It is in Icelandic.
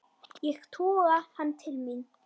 Ég toga hann til mín.